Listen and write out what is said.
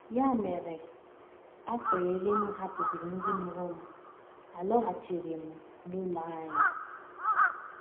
Ya mere, afọ iri m hapụsịrị ndị mụrụ m, alọghachiri m n’ụlọ anyị.